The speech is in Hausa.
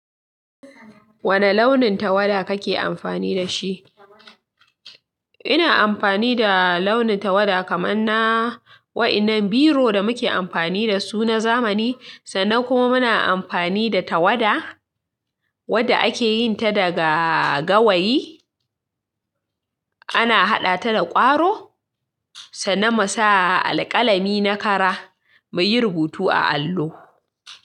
Wane launin tawada kake amfani da shi? Ina amfani da launin tawada kamar na wa'inan biro da muke amfani da su na zamani, sannan kuma muna amfani da tawada wadda ake yin ta daga gawayi. Ana haɗa ta da ƙwaro, sannan mu sa alƙalami na kara mu yi rubutu a allo.